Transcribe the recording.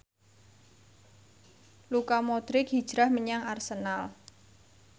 Luka Modric hijrah menyang Arsenal